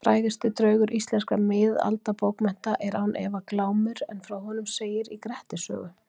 Frægasti draugur íslenskra miðaldabókmennta er án efa Glámur en frá honum segir í Grettis sögu.